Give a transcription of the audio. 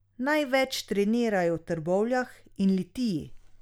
Največ trenirajo v Trbovljah in Litiji.